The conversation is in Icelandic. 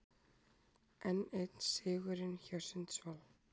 Enn einn sigurinn hjá Sundsvall